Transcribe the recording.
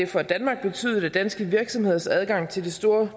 for danmark betydet at danske virksomheders adgang til det store